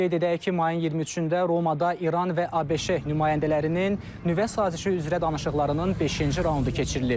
Qeyd edək ki, mayın 23-də Romada İran və ABŞ nümayəndələrinin nüvə sazişi üzrə danışıqlarının beşinci raundu keçirilib.